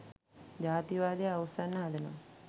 ජාතිවාදය අවුස්සන්න හදනවා.